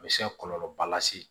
A bɛ se ka kɔlɔlɔba lase